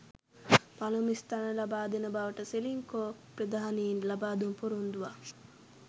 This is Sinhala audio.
පළමු ස්ථානය ලබාදෙන බවට සෙලින්කෝ ප්‍රධානීන් ලබාදුන් පොරොන්දුවක්